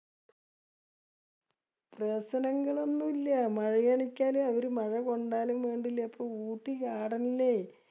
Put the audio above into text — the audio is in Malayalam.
പ്രശ്നങ്ങളൊന്നുല്യാ. മഴെയാണെച്ചാല് അവര് മഴ കൊണ്ടാലും വേണ്ടില്യ. ഇപ്പൊ ഊട്ടി Garden ല്